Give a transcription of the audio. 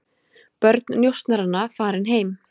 Börn njósnaranna farin heim